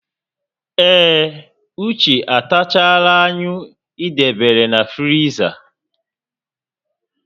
Ee, Uche atachaala anyụ ị debere na friza